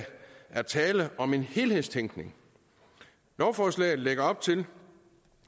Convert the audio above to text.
er tale om en helhedstænkning lovforslaget lægger op til